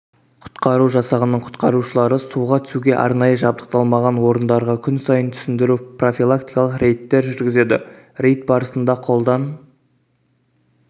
құтқару жасағының құтқарушылары суға түсуге арнайы жабдықталмаған орындарға күнсайын түсіндіру-профилактикалық рейдтер жүргізеді рейд барысында қолдан